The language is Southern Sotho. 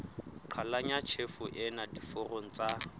qhalanya tjhefo ena diforong tsa